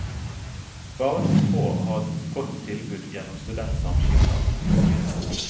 Bare noen få har et godt tilbud gjennom studentsamskipnadene.